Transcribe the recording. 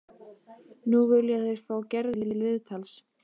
Nú vilja þeir fá Gerði til viðtals.